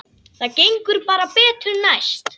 Það gengur bara betur næst.